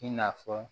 I n'a fɔ